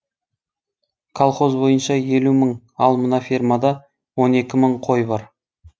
колхоз бойынша елу мың ал мына фермада он екі мың қой бар